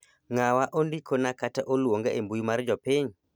ng'awa ondikona kata oluonga e mbui mar jopiny